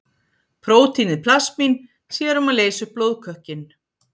Prótínið plasmín sér um að leysa upp blóðkökkinn.